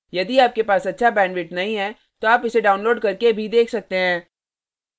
यदि आपके पास अच्छा bandwidth नहीं है तो आप इसे download करके देख सकते हैं